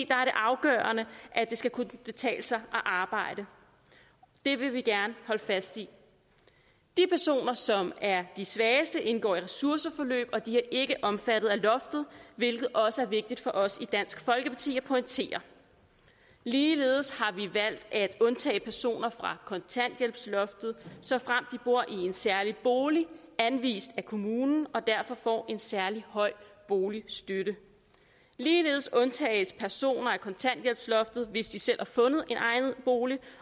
det afgørende at det skal kunne betale sig at arbejde det vil vi gerne holde fast i de personer som er de svageste indgår i ressourceforløb og de er ikke omfattet af loftet hvilket også er vigtigt for os i dansk folkeparti at pointere ligeledes har vi valgt at undtage personer fra kontanthjælpsloftet såfremt de bor i en særlig bolig anvist af kommunen og derfor får en særlig høj boligstøtte ligeledes undtages personer fra kontanthjælpsloftet hvis de selv har fundet en egnet bolig